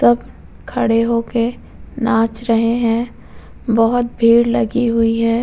तब खड़े होके नाच रहे हैं। बहोत भीड़ लगी हुई है।